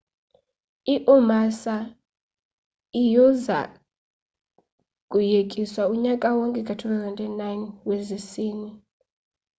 i-umassa iuza kuyekiswa unyaka wonke ka-2009 wesizini